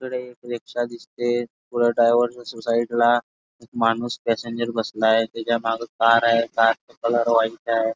तिकडे एक रिक्षा दिसते पुर ड्रायवर च्या साइड ला एक माणूस पॅसेंजर बसलाय त्याच्या मग एक कार आहे कार च कलर व्हाइट आहे.